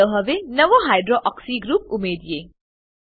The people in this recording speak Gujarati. ચાલો હવે એક નવો હાઇડ્રોક્સી ગ્રુપ ઉમેરીએ